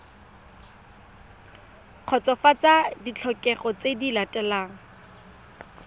kgotsofatsa ditlhokego tse di latelang